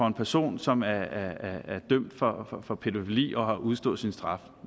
en person som er dømt for pædofili og har udstået sin straf